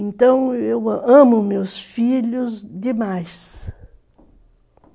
Então eu amo meus filhos demais.